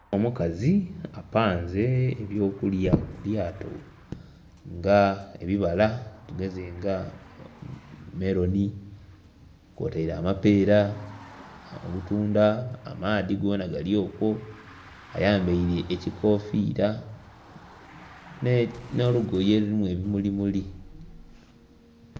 Omukazi apanze eby'okulya ku lyato nga ebibala tugeze nga meloni kwotaire amapeera, obutundha, amaadhi gonha gali okwo ayambaire ekikofiira n'olugoye olulimu ebimuli muli.